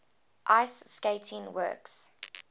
ice skating works